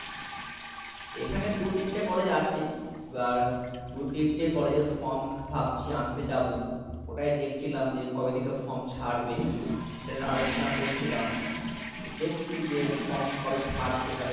এখানে দু তিনটে college আছে এবার দু তিনটে college এর form ভাবছি আনতে যাবো ওটাই দেখছিলাম যে কবে থেকে from ছাড়বে সেটা নিয়ে আলো~ চনা করছিলাম দেখছি যে form কবে ছাড়ছে তাহলে